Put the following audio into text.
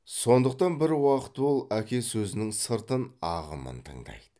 сондықтан бір уақыт ол әке сөзінің сыртын ағымын тыңдайды